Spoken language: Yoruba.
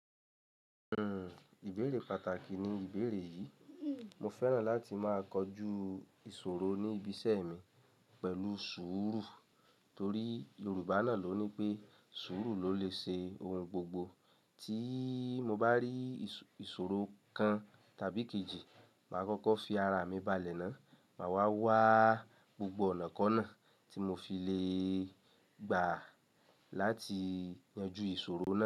Hmm, ìbéèrè pàtàkì ni ìbéèrè yìí. Mo fẹ́ràn láti máa kojú ìṣòro ní ibi iṣẹ́ mi pẹ̀lú sùúrù torí Yorùbá náà ló ní pé sùúrù ló lè ṣe ohun gbogbo. Tí mo bá rí ìṣòro kan tàbí kejì, màá kókó fi ara mi balẹ̀ náà, mà wá wáa gbogbo ọ̀nàkọ́nà tí mo fi le gbà láti yanjú ìṣòro náà.